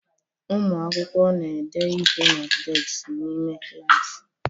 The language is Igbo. Ụmụ akwụkwọ na-ede ihe na deskị n'ime klaasị.